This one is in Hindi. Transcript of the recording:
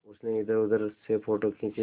उसने इधरउधर से फ़ोटो खींचे